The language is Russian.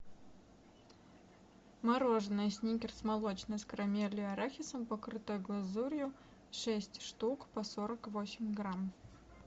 мороженое сникерс молочное с карамелью и арахисом покрытое глазурью шесть штук по сорок восемь грамм